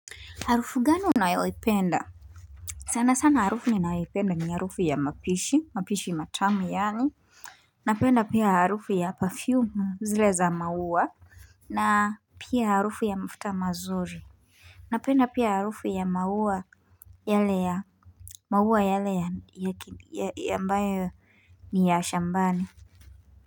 Harufu gani unayoipenda sana sana harufu ninayoipenda ni harufu ya mapishi, mapishi matamu yani. Napenda pia harufu ya perfume zile za maua na pia harufu ya mafuta mazuri Napenda pia harufu ya maua yale ya maua yale ambayo ni ya shambani.